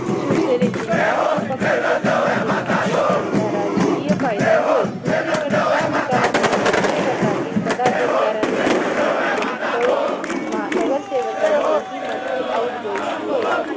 शिवसेने चे नाव व पक्ष्याचे चिन्ह दिल्याने त्यांचा राजकीय फायदा होईल. दुसरीकडे या निकालामुळे ठाकरे गटातील पदअधिकार्यां मध्ये चलबिचल होऊन नगरसेवकांचे हि मोठे outgoing होईल.